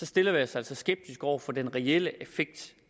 stiller vi os altså skeptiske over for den reelle effekt